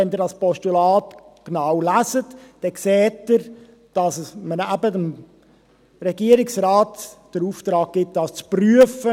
Wenn Sie das Postulat genau lesen, sehen Sie, dass man dem Regierungsrat mit einem Postulat den Auftrag gibt, dies zu prüfen.